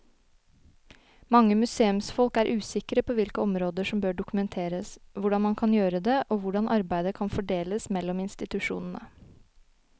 Mange museumsfolk er usikre på hvilke områder som bør dokumenteres, hvordan man kan gjøre det og hvordan arbeidet kan fordeles mellom institusjonene.